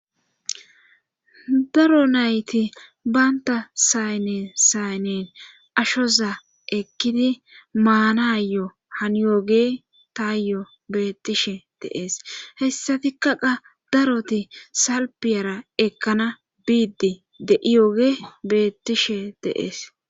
Daro nayti banta sayne saynen ashoza ekkidi maanayo haniyooge taayo beettishe deees hessatikka qa daroti salpiyara ekkana biiddi de7iyooge bettishe deees